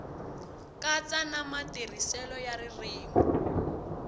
katsa na matirhiselo ya ririmi